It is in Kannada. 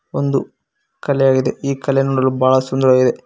ಒಂದು ಕಲೆ ಆಗಿದೆ ಈ ಕಲೆ ನೋಡಲು ಬಹಳ ಸುಂದರವಾಗಿದೆ.